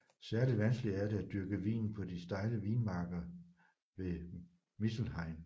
Særligt vanskeligt er det at dyrke vinen på de stejle vinmarker ved Mittelrhein